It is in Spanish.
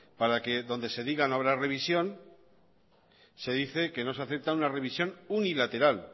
para que donde se diga no habrá revisión se dice que no se acepta una revisión unilateral